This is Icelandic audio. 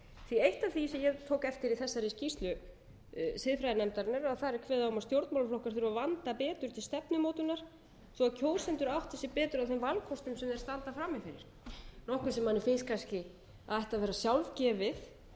eitt af því sem ég tók eftir í þessari skýrslu siðfræðinefndarinnar þar er kveðið á um að stjórnmálaflokkar þurfi að vanda betur til stefnumótunar svo kjósendur átti sig betur á þeim vanda sem þeir standa frammi fyrir nokkuð sem manni finnst kannski að ætti að vera sjálfgefið